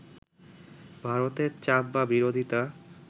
“ভারতের চাপ বা বিরোধিতা